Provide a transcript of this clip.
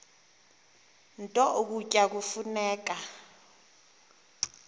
nto ukutya kufuneka